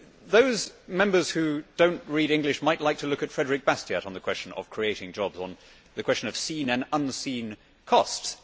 Those Members who do not read English might like to look at Frédéric Bastiat on the question of creating jobs, the question of seen and unseen costs.